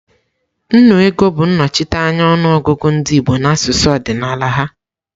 Nnu ego bụ nnochite anya ọnụ ọgụgụ ndị Igbo n'asụsụ ọdịnala ha.